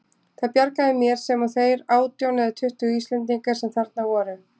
Það bjargaði mér, sem og þeir átján eða tuttugu Íslendingar sem þarna voru.